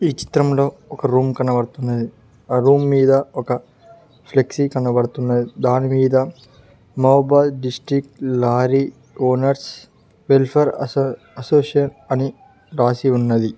చిత్రంలో ఒక రూమ్ కనబడుతుంది అ రూమ్ మీద ఒక ఫ్లెక్సీ కనబడుతున్నది దానిమీద Mahabad district lorry owners welfare అసో అసోసియేషన్ అని రాసి ఉన్నది.